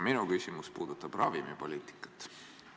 Minu küsimus puudutab ravimipoliitikat.